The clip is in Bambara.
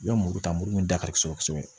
I ka muru ta muru min da ka di kosɛbɛ kosɛbɛ